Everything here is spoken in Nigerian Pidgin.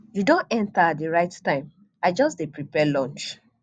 you don enter at the right time i just dey prepare lunch